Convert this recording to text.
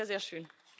Das wäre sehr schön.